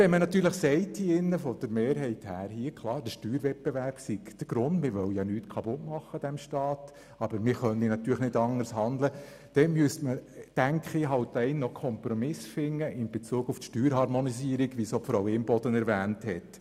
Wenn die Mehrheit sagt, der Steuerwettbewerb sei der Grund, und man wolle nichts an diesem Staat kaputt machen, aber man könne nicht anders handeln, müsste man in Bezug auf die Steuerharmonisierung einen Kompromiss finden, wie es auch Grossrätin Imboden erwähnt hat.